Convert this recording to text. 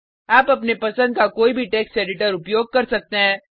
आप अपने पसंद का कोई भी टेक्स्ट एडिटर उपयोग कर सकते हैं